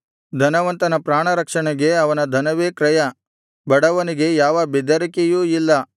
ಧನವಂತನ ಪ್ರಾಣರಕ್ಷಣೆಗೆ ಅವನ ಧನವೇ ಕ್ರಯ ಬಡವನಿಗೆ ಯಾವ ಬೆದರಿಕೆಯೂ ಇಲ್ಲ